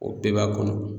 O bɛɛ b'a kɔnɔ